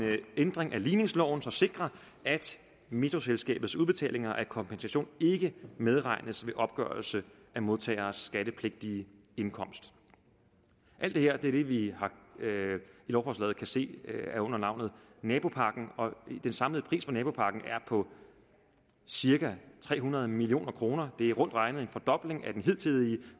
ændring af ligningsloven som sikrer at metroselskabets udbetalinger af kompensation ikke medregnes ved opgørelse af modtageres skattepligtige indkomst alt det her er det vi i lovforslaget kan se under navnet nabopakken og den samlede pris for nabopakken er på cirka tre hundrede million kroner det er rundt regnet en fordobling af den hidtidige